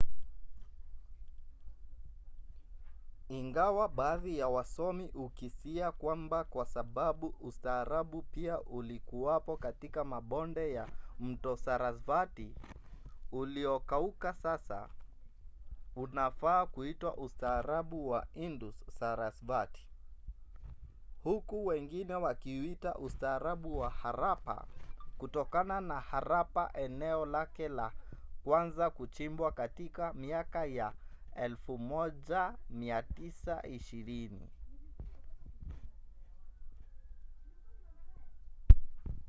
ingawa baadhi ya wasomi hukisia kwamba kwa sababu ustaarabu pia ulikuwapo katika mabonde ya mto sarasvati uliokauka sasa unafaa kuitwa ustaarabu wa indus-sarasvati huku wengine wakiuita ustaarabu wa harappa kutokana na harappa eneo lake la kwanza kuchimbwa katika miaka ya 1920